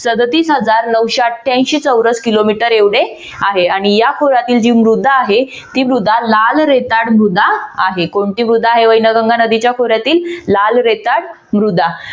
सदोतीस हजार नऊशे अठ्यांशी चौरस किलोमीटर एवढे आहे आणि या खोऱ्यातील जी मृदा आहे ती मृदा लाल रेताड मृदा आहे. कोणती मृदा आहे वैनगंगा नदीच्या खोऱ्यातली लाल रेताड मृदा